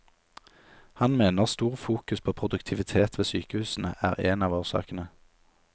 Han mener stor fokus på produktivitet ved sykehusene er en av årsakene.